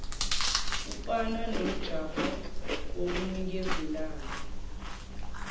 ufana nomjaho wokunikezelana